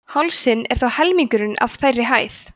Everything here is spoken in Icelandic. hálsinn er þó helmingurinn af þeirri hæð